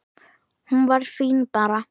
Hún var fín bara.